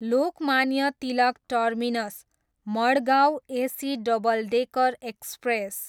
Lokmanya Tilak terminus, Madgaon AC double decker express